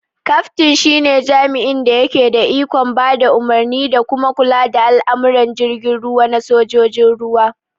Kaftin shi ne jami'in da yake da ikon ba da umarni da kuma kula da al'amuran jirgin ruwa na sojojin ruwa